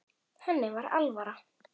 Henni var alvara.